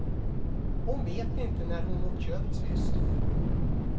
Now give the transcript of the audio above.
Hon vet inte när hon åt kött sist.